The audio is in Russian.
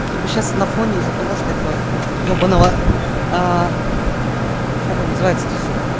типа сейчас на фоне из-за того что этого ебаного аа как он называется то сука